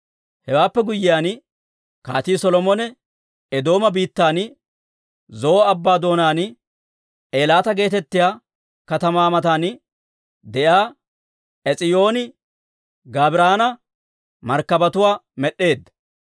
Hewaappe guyyiyaan Kaatii Solomone Eedooma biittan Zo'o Abbaa doonaan, Eelaata geetettiyaa katamaa matan de'iyaa Ees'iyooni-Gaabiran markkabatuwaa med'd'eedda.